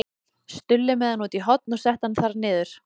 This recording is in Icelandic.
Stulli með hann út í horn og setti hann þar niður.